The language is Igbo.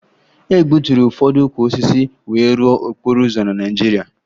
E gbuturu ụfọdụ ukwu osisi wee rụọ okporo ụzọ na Naịjirịa